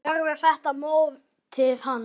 Verður þetta mótið hans?